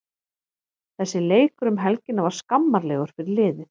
Þessi leikur um helgina var skammarlegur fyrir liðið.